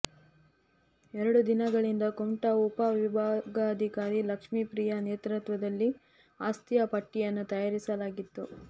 ಎರಡು ದಿನಗಳಿಂದ ಕುಮಟಾ ಉಪ ವಿಭಾಗಾಧಿಕಾರಿ ಲಕ್ಷ್ಮೀಪ್ರಿಯಾ ನೇತೃತ್ವದಲ್ಲಿ ಆಸ್ತಿಯ ಪಟ್ಟಿಯನ್ನು ತಯಾರಿಸಲಾಗಿತ್ತು